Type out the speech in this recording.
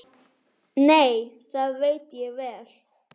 Nei, það veit ég vel.